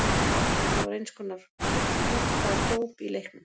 Þetta var eins konar kallorð eða hróp í leiknum.